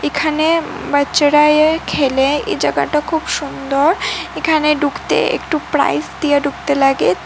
এখানে বাচ্চারা আইয়া খেলে এই জায়গাটা খুব সুন্দর এখানে ডুকতে একটু প্রাইজ দিয়া ডুকতে লাগে তো --